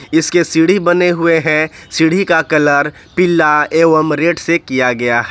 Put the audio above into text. इसके सीढ़ी बने हुए हैं सीढ़ी का कलर पीला एवम रेड से किया गया है।